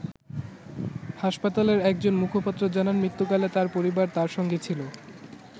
হাসপাতালের একজন মুখপাত্র জানান মৃত্যুকালে তার পরিবার তার সঙ্গে ছিল।